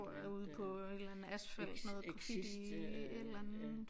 Tror jeg ude på en eller anden asfalt noget graffiti et eller andet